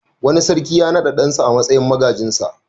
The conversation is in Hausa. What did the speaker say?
Wani sarki ya naɗa ɗansa a matsayin magajinsa.